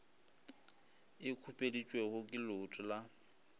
e khupeditšwego ke leuto la